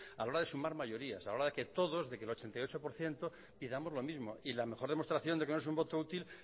a la hora de sumar mayorías a la hora de que todos de que el ochenta y ocho por ciento pidamos lo mismo y la mejor demostración de que no es un voto útil